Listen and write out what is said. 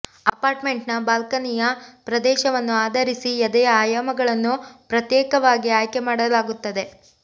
ಅಪಾರ್ಟ್ಮೆಂಟ್ನ ಬಾಲ್ಕನಿಯ ಪ್ರದೇಶವನ್ನು ಆಧರಿಸಿ ಎದೆಯ ಆಯಾಮಗಳನ್ನು ಪ್ರತ್ಯೇಕವಾಗಿ ಆಯ್ಕೆ ಮಾಡಲಾಗುತ್ತದೆ